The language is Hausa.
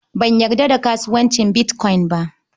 Ban yarda da kasuwancin bitkoyin ba.